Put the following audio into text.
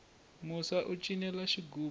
musa u cinela xigubu